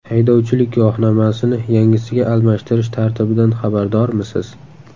Haydovchilik guvohnomasini yangisiga almashtirish tartibidan xabardormisiz?.